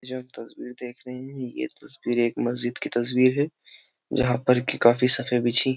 ये जो आप तस्वीर देख रहे है हैं ये तस्वीर एक मस्जिद की तस्वीर है जहां पर कि काफ़ी सारे बिछी --